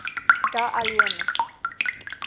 ga aliyin